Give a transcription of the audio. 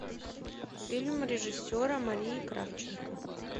фильм режиссера марии кравченко